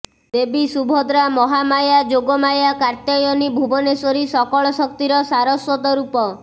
ଦେବୀ ସୁଭଦ୍ରା ମହାମାୟା ଯୋଗମାୟା କାତ୍ୟାୟନୀ ଭୁବନେଶ୍ୱରୀ ସକଳ ଶକ୍ତିର ସାରସ୍ବତ ରୂପ